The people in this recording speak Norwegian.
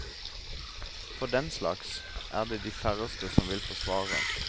For den slags er det de færreste som vil forsvare.